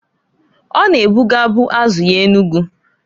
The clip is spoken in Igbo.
O na-ebugabu azu ya Enugu.